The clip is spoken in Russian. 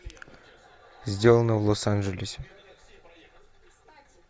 сделано в лос анджелесе